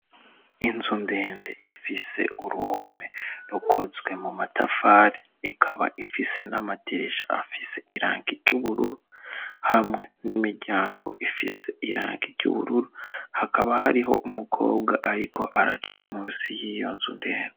Inzu ndende ifise uruhome rukozwe mu matafare ikaba ifise nd'amatirisha afise iranki ry'ubururu hamwe n'imiryango ifise iranki ry'ubururu hakaba hariho umukobwa, ariko araca musi y'iyo nzundende.